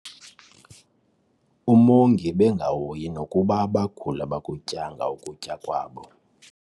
Umongi ebengahoyi nokuba abaguli abakutyanga ukutya kwabo.